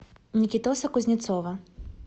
никитоса кузнецова